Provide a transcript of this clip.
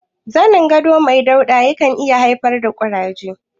Zanin gado mai dauɗa ya kan iya haifar da ƙuraje.